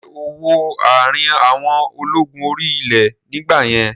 Ṣé ó wọ àrin àwọn ológun orí ilẹ̀ nígbà yẹn?